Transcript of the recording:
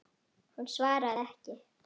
Hún svaraði ekki.